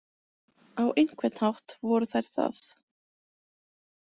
Á einhvern hátt voru þær það.